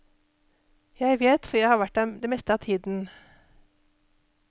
Jeg vet, for jeg har vært der det meste av tiden.